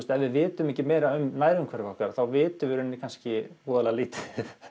ef við vitum ekki mikið um nærumhverfi okkar þá vitum við kannski voðalega lítið